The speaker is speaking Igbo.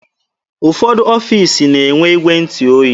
Ụfọdụ ọfiisi na-enwe igwe ntụ oyi.